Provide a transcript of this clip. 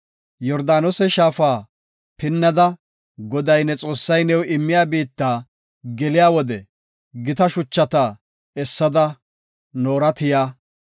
Yordaanose shaafa pinnada, Goday ne Xoossay new immiya biitta geliya wode gita shuchata essada noora tiya.